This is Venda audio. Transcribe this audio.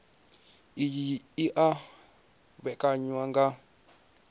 iyi i o vhekanywa nga